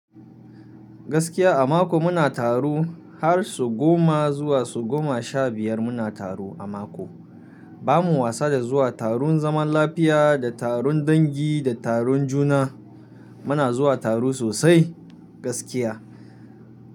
Gaskiya a mako muna taro har su goma zuwa su goma sha biyar muna taro a mako. Ba mu wasa da zuwa taron zaman lafiya da taron dangi da taron juna. Muna zuwa taro sosai gaskiya.